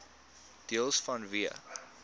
deels vanweë